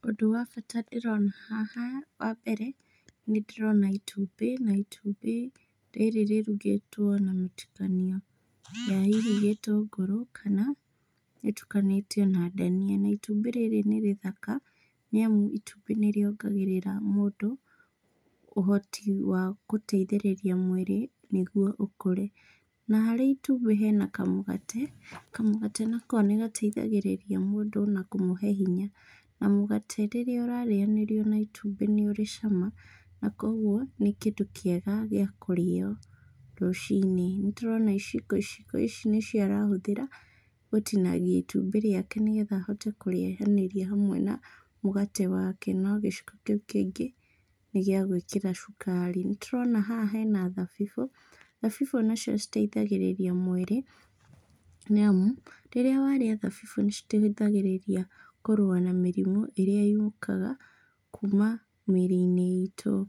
Ũndũ wa bata ndĩrona haha, wambere nĩ ndĩrona itumbĩ, na itumbĩ rĩrĩ rĩrugĩtwo na mũtukanio wa hihi gĩtũngũrũ kana rĩtukanĩtio na ndania. Na itumbĩ rĩrĩ nĩ rĩthaka, nĩ amu itumbĩ nĩrĩongagĩrĩra mũndũ ũhoti wa gũteithĩrĩria mwĩrĩ nĩguo ũkũre. Na harĩ itumbĩ hena kamũgate , kamũgate nako nĩ gateithagĩrĩria mũndũ na kũmũhe hinya. Na mũgate rĩrĩa ũrarĩanĩrio na itumbĩ nĩ urĩ cama koguo nĩ kĩndũ kĩega gĩa kũrĩo rũcinĩ. Nĩtũrona iciko, iciko ici nĩcio arahũthĩra gũtinagia itumbĩ riake nigetha ahote kũrĩanĩria na mũgate wake, no gĩciko kĩu kĩngĩ, nĩ gĩa gũĩkĩra cukari. nĩtũrona haha hena thabibũ, thabibũ nacio citaithagĩrĩria mwĩrĩ, nĩ amu rĩrĩa warĩa thabibũ nicitaithagĩrĩria kũrũa na mĩrimũ ĩrĩa yũkaga kuma mĩĩri-inĩ itu.